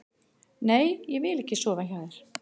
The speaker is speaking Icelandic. Nei, ég vil ekki sofa hjá þér.